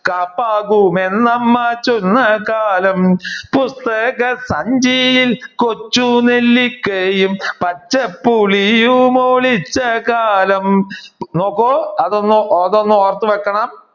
കാപ്പാകും അന്നമ്മ ചൊന്നകാലം പുസ്തകസഞ്ചിയിൽ കൊച്ചു നെല്ലിക്കയും പച്ച പുളിയും ഒളിച്ചകാലം നോക്കെ അത് ഒന്നഒന്നു ഓർത്തു വെക്കണം